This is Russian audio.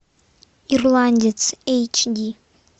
ирландец эйч ди